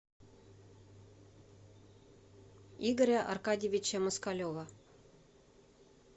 игоря аркадьевича москалева